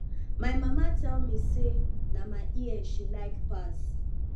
my mama tell me say na my ear she like pass